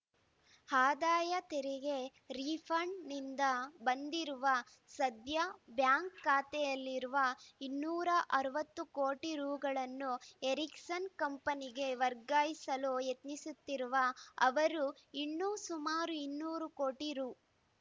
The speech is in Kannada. ಆದಾಯ ತೆರಿಗೆ ರೀಫಂಡ್‌ನಿಂದ ಬಂದಿರುವ ಸದ್ಯ ಬ್ಯಾಂಕ್‌ ಖಾತೆಯಲ್ಲಿರುವ ಇನ್ನೂರ ಅರವತ್ತು ಕೋಟಿ ರುಗಳನ್ನು ಎರಿಕ್ಸನ್‌ ಕಂಪನಿಗೆ ವರ್ಗಾಯಿಸಲು ಯತ್ನಿಸುತ್ತಿರುವ ಅವರು ಇನ್ನೂ ಸುಮಾರು ಇನ್ನೂರು ಕೋಟಿ ರು